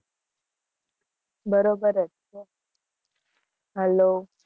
બરોબર જ છે. Hello